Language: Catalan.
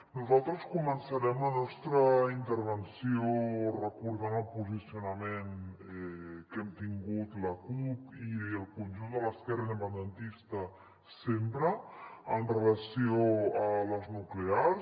nosaltres començarem la nostra intervenció recordant el posicionament que hem tingut la cup i el conjunt de l’esquerra independentista sempre amb relació a les nuclears